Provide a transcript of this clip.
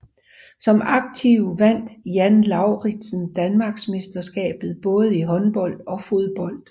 Som aktiv vandt Jan Lauridsen Danmarksmesterskabet både i håndbold og fodbold